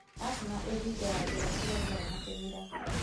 Asthma ĩthingaga njĩra cia rĩera na kĩmira.